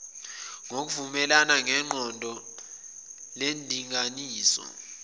ngokuvumelana neqoqo lendinganiso